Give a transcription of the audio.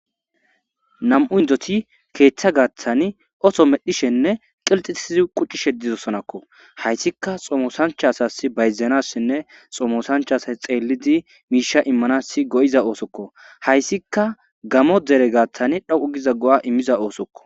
Namu'u iddoti ketha gathani otto medhishene qilixisidi quchishe dosonako hayisika xomosancha asasi bayizanasine xomosanicha assayi xeldi misha imanasi go'ida ossoko hasika gamo dere gathani dhoqu gido goa imida ossoko